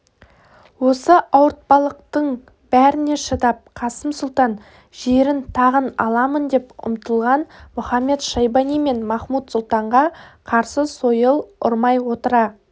осы ауыртпалықтың бәріне шыдап қасым сұлтан жерін тағын аламын деп ұмтылған мұхамед-шайбани мен махмуд-сұлтанға қарсы сойыл ұрмай отыра